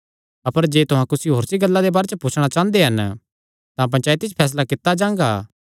अपर जे तुहां कुसी होरनी गल्ला दे बारे च पुछणा चांह़दे हन तां पंचायती च फैसला कित्ता जांगा